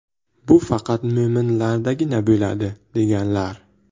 Bu faqat mo‘minlardagina bo‘ladi”, deganlar.